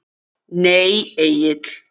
Nei Egill.